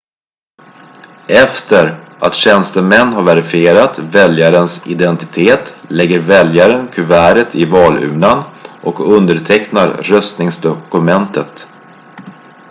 efter att tjänstemän har verifierat väljarens identitet lägger väljaren kuvertet i valurnan och undertecknar röstningsdokumentet